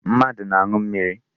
Mmadụ na-aṅụ mmiri.